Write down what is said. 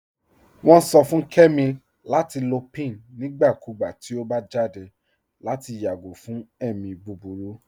Wọn sọ fún Kẹmi lati lọ pín nígbàkúgbà tí ọ bá jáde lati yágò fún ẹ̀mi búburú.